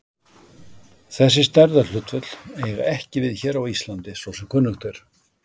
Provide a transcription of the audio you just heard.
Þessi stærðarhlutföll eiga ekki við hér á Íslandi svo sem kunnugt er.